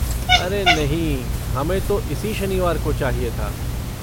अरे नहीं, हमें तो इसी शनिवार को चाहिए था।